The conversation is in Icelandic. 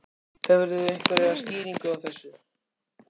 Hefurðu einhverja skýringu á þessu?